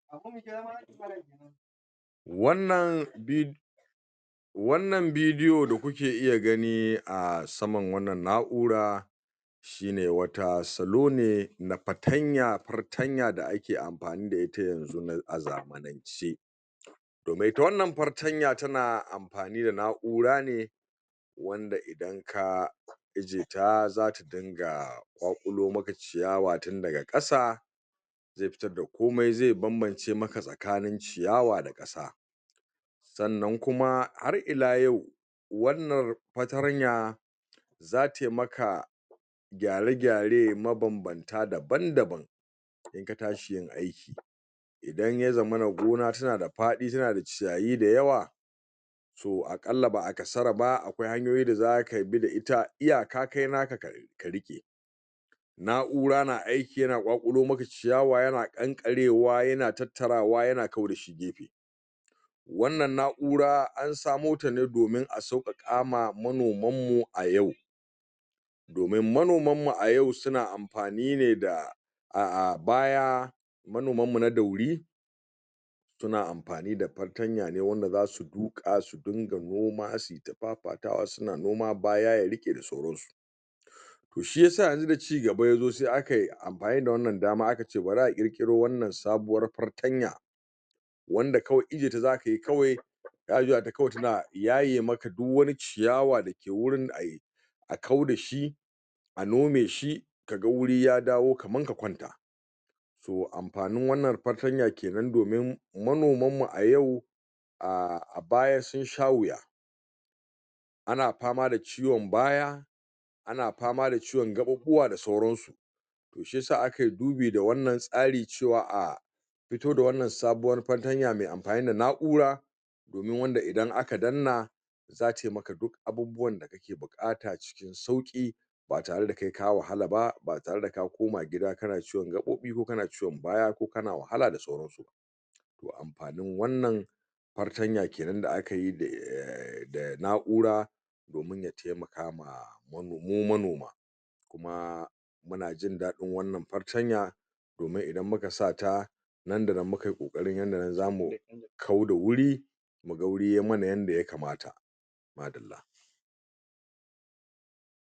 Wannan bid wannan bidi o da kuke iya gani a saman wannan na ura shine wata salo ne na fatanya fartanya da ake amfani da ita yanzu ci domin ita wannan fartanya tana amfani da na urane wanda idan ka ijjiyeta zata dinga ƙwaƙulo maka ciyawa tin daga ƙasa ze fitar da komai ze banbam cemaka maka tsakanin ciyawa da sannan kuma har ila yau wannan fartanya za taimaka gyara gyare mabanbanta daban daban katshiyin aiki idan yazamana gona tanada faɗi tanada ciyayi da yawa to akalla ba a kasaraba akwai hanyoyi da zakabi ta iyaka kai naka ka riƙe na ura na ai ki yan kwakulomaka ciyawa yana ƙan karewa yana tattarawa yana kau wannan na ura ansamotane domin asauƙaƙama manoman mu ayau domin manoman mu ayau suna amfanine da a, a baya manoman mu na dauri suna amfani da fatanya ne wanda zasu duƙa su dunga noma dafafatawa suna noma baya yariƙe da sauran to shiyasa yanzu da ci gaba yazo se akai amfani da wannan dama akace bari ƙiro wannan sabuwa fartanya wanda kawai ijjiyeta zakayi kawai za a juyata kawai tana yaye maka duk wani ciyawa dake wurin ai a kau dashi a nomeshi kaga guri yadawo kaman ka kwaunta to amfanin wannan fa tarya kenan domin manomanmu aya a abaya sunsha wiya ana fama da ciwon baya ana fama da ciwon gaƙ ƴ ɓuɓuwa da sauran su shi yasa aki dubi da wannan tsari cewa a afito da wannan sabuwar far tanya me amfanida na ura domin wanda idan aka danna zatai maka duk abubuwan buƙata sauki batare da kai ka wahala ba batare da ka koma gida kana ciwon gaɓoɓobi ko kana ciwon baya ko kana wahala da sauran amfanin wannan fatarya kenan da akayi da na ura domin ya temaka mu manoma kuma munajin daɗin wannan fartanya domin idan muka sata nandanan mukayi ƙoƙari yanda zamu kau da wuri muga wuri yai mana yanda yakamata